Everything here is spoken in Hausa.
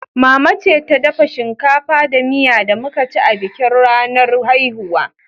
Mama ce ta dafa shinkafa da miya da muka ci a bikin ranar haihuwa.